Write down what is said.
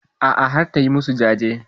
A'a har ta yi masu jajen.